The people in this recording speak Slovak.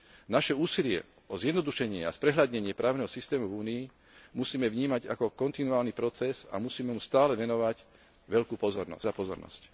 Naše úsilie o zjednodušenie a sprehľadnenie právneho systému v Únii musíme vnímať ako kontinuálny proces a musíme mu stále venovať veľkú pozornosť.